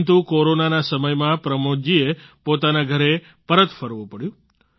પરંતુ કોરોનાના સમયમાં પ્રમોદ જીએ પોતાના ઘરે પરત ફરવું પડ્યું